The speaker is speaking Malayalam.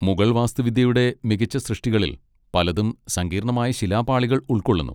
മുഗൾ വാസ്തുവിദ്യയുടെ മികച്ച സൃഷ്ടികളിൽ പലതും സങ്കീർണ്ണമായ ശിലാപാളികൾ ഉൾക്കൊള്ളുന്നു.